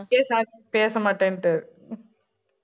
பேச மாட்டேன்ட்டு